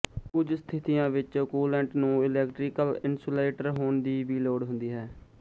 ਕੁਝ ਸਤਿਥੀਆਂ ਵਿੱਚ ਕੂਲੈਂਟ ਨੂੰ ਇਲੈਕਟ੍ਰੀਕਲ ਇੰਸੂਲੇਟਰ ਹੋਣ ਦੀ ਵੀ ਲੋੜ ਹੁੰਦੀ ਹੈ